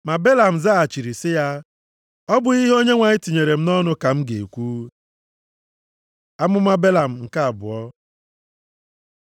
Ma Belam zaghachiri sị ya, “Ọ bụghị ihe Onyenwe anyị tinyere m nʼọnụ ka m ga-ekwu?” Amụma Belam nke abụọ